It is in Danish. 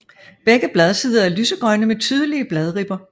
Begge bladsider er lysegrønne med tydelige bladribber